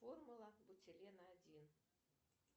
формула бутилена один